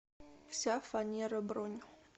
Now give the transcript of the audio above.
вся фанера бронь